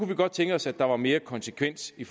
vi godt tænke os at der var mere konsekvens vi